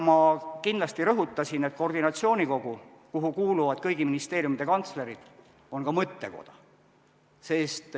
Ma kindlasti rõhutaksin, et koordinatsioonikogu, kuhu kuuluvad kõigi ministeeriumide kantslerid, on ka mõttekoda.